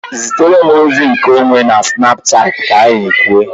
Zitere m ozi nke onwe na Snapchat ka anyị kwuo